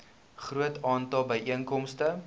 groot aantal byeenkomste